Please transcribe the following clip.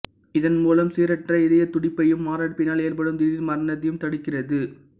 இதன் மூலம் சீரற்ற இதயத் துடிப்பையும் மாரடைப்பினால் ஏற்படும் திடீர் மரணத்தையும் தடுக்கிறது